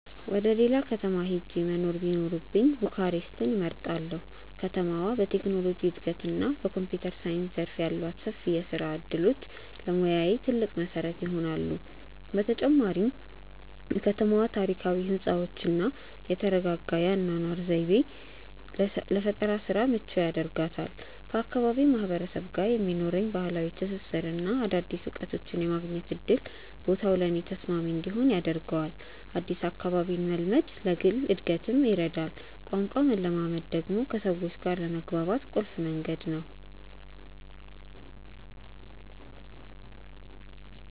ወደ ሌላ ከተማ ሄጄ መኖር ቢኖርብኝ ቡካሬስትን እመርጣለሁ። ከተማዋ በቴክኖሎጂ እድገትና በኮምፒውተር ሳይንስ ዘርፍ ያሏት ሰፊ የስራ እድሎች ለሙያዬ ትልቅ መሰረት ይሆናሉ። በተጨማሪም የከተማዋ ታሪካዊ ህንፃዎችና የተረጋጋ የአኗኗር ዘይቤ ለፈጠራ ስራ ምቹ ያደርጋታል። ከአካባቢው ማህበረሰብ ጋር የሚኖረኝ ባህላዊ ትስስርና አዳዲስ እውቀቶችን የማግኘት እድል ቦታው ለእኔ ተስማሚ እንዲሆን ያደርገዋል። አዲስ አካባቢን መልመድ ለግል እድገትም ይረዳል። ቋንቋን መለማመድ ደግሞ ከሰዎች ጋር ለመግባባት ቁልፍ መንገድ ነው።